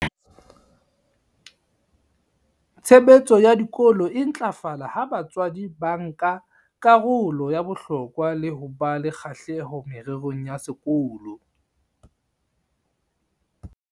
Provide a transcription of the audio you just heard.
"Tshebetso ya dikolo e ntlafala ha batswadi ba nka karolo ya bohlokwa le ho ba le kgahleho mererong ya sekolo."